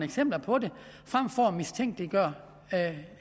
eksempler på det frem for at mistænkeliggøre